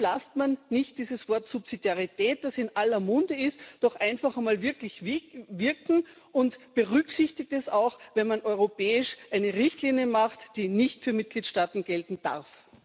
Warum lässt man nicht dieses Wort Subsidiarität, das in aller Munde ist, doch einfach einmal wirklich wirken und berücksichtigt es auch, wenn man europäisch eine Richtlinie macht, die nicht für Mitgliedstaaten gelten darf?